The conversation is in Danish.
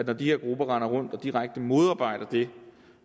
når de her grupper render rundt og direkte modarbejder det